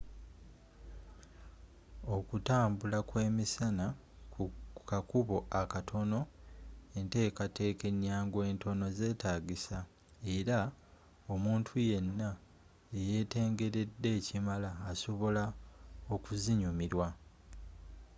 okutambula kwe misana ku kakubo akatono entekateka enyangu entono zetagisa era omuntu yenna eyetengeredde ekimala asobola okuzinyumirwa